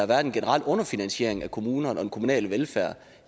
været en generel underfinansiering af kommunerne og den kommunale velfærd